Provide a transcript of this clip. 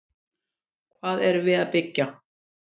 Hvað erum við að byggja?